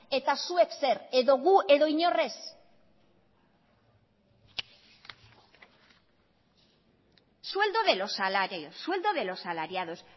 eta zuek zer edo gu edo inor ez sueldo de los salarios sueldo de los salariados